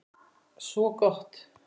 Svo gott!